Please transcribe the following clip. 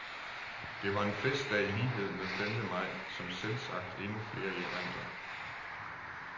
Det var en festdag i lighed med femte maj, som selvsagt endnu flere erindrer.